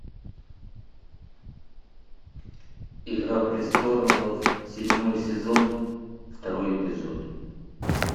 игра престолов седьмой сезон второй эпизод